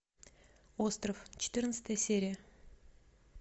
остров четырнадцатая серия